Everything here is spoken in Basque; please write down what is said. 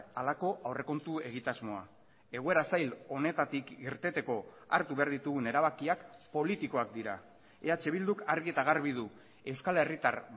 halako aurrekontu egitasmoa egoera zail honetatik irteteko hartu behar ditugun erabakiak politikoak dira eh bilduk argi eta garbi du euskal herritar